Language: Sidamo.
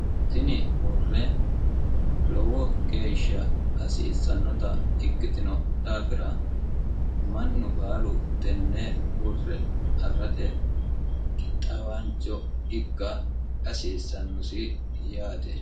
tini hurre lowo geeshsha hasiissannota ikkitino dhaafira mannu baalu tenne hurre afi'rate qixxaawaancho ikka hasiissannosi yaate